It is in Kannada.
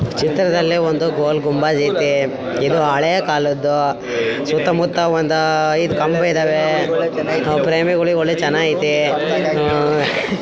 ಈ ಚಿತ್ರದಲ್ಲಿ ಒಂದು ಗೋಲ್ ಗುಂಬಜ್ ಇದೆ ಇದು ಹಳೆಯ ಕಾಲದ್ದು ಸುತ್ತಮುತ್ತ ಐದು ಕಂಬಗಳಿದವೇ ಒಳೆ ಚೆನ್ನಗೈತೆ.